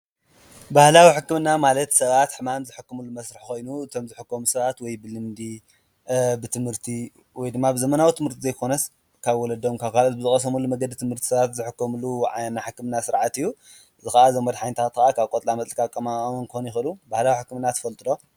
ባህላዊ ሕክምና ማለት ሰባት ሕማም ዝሕክምሉ ኮይኑ እቶም ዝሕከሙ ሰባት ወይ ብልምዲ ብትምህርቲ ወይ ድማ ብዘበናዊ ትምህርቲ ዘይኮነስ ካብ ወለዶም ካብ ካልኦት ዝቀሰምዎትምህርቲ ሰባት ዝሕከምሉ ሕክምና ስርዓት እዩ፡፡ ንሱ ካኣ እዞም መድሓኒታት ከዓ ካብ ቆፅላ መፅሊ ዝቃመሙ ክኮኑ ይክእሉ ፡፡